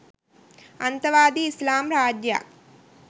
අන්තවාදී ඉස්ලාම් රාජ්‍යයක්